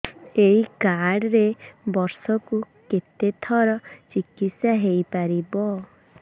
ଏଇ କାର୍ଡ ରେ ବର୍ଷକୁ କେତେ ଥର ଚିକିତ୍ସା ହେଇପାରିବ